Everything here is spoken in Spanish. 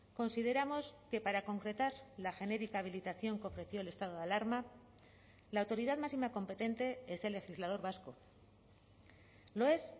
consideramos que para concretar la genérica habilitación que ofreció el estado de alarma la autoridad máxima competente es el legislador vasco lo es